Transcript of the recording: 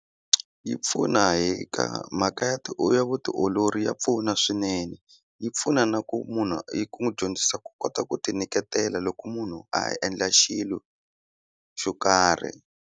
Yi pfuna hi ka mhaka ya ya vutiolori ya pfuna swinene yi pfuna na ku munhu i ku n'wi dyondzisa ku kota ku ti nyiketela loko munhu a endla xilo xo karhi.